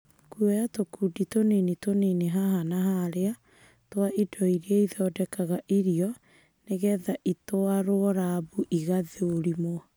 Kuoya tũkundi tũnini tũnini haha na harĩa twa indo iria ithondekaga irio nĩgetha itwaro rambu igathũrimwo.